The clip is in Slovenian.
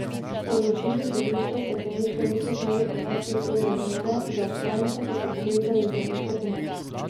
Po odločitvi sodišča stekleničke niso smeli odnesti iz sodne dvorane, za obsojenca pa so poklicali zdravniško pomoč.